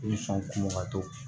I bɛ sɔn kunba to